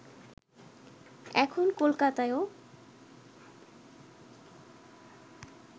এখন কলকাতায়ও